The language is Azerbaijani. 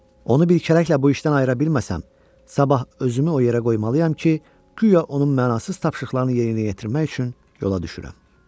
Onu bir kərəklə bu işdən ayıra bilməsəm, sabah özümü o yerə qoymalıyam ki, guya onun mənasız tapşırıqlarını yerinə yetirmək üçün yola düşürəm.